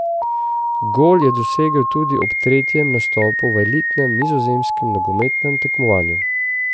Gol je dosegel tudi ob tretjem nastopu v elitnem nizozemskem nogometnem tekmovanju.